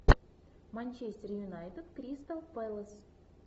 манчестер юнайтед кристал пэлас